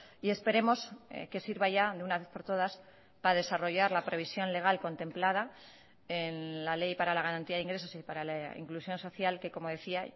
y esperemos que sirva ya de una vez por todas para desarrollar la previsión legal contemplada en la ley para la garantía de ingresos y para la inclusión social que como decía